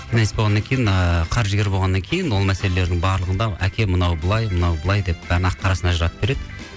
болғаннан кейін ыыы қаржыгер болғаннан кейін ол мәселелердің барлығында әке мынау былай мынау былай деп бәрін ақ қарасын ажыратып береді